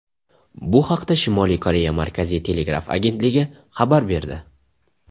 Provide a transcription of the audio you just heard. Bu haqda Shimoliy Koreya Markaziy telegraf agentligi xabar berdi .